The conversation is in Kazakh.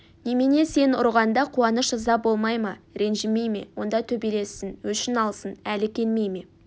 немене сен ұрғанда қуаныш ыза болмай ма ренжімей ме онда төбелессін өшін алсын әлі келмей ме